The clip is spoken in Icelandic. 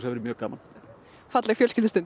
verði mjög gaman falleg